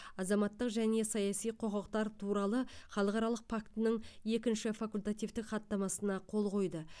азаматтық және саяси құқықтар туралы халықаралық фактінің екінші факультативтік хаттамасына қол қойды